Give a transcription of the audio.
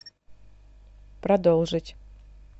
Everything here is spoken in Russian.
продолжить